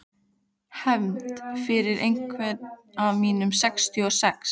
Hefnd fyrir einhvern af mínum sextíu og sex.